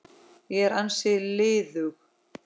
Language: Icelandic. Ég er ansi liðug!